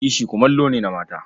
Kishi kumallo ne na mata.